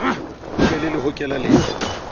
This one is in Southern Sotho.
ho be le lehokela le